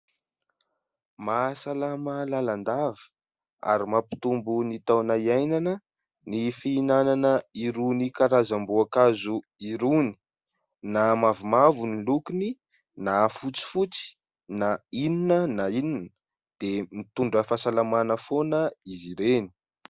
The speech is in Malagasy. Mahasalama lalandava ary mampitombo ny taona hiainana ny fihinanana irony karazam-boankazo irony, na mavomavo ny lokony na fotsifotsy na inona na inona dia mitondra fahasalamana foana izy ireny.